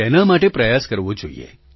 તેના માટે પ્રયાસ કરવો જોઈએ